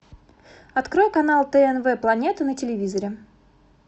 открой канал тнв планета на телевизоре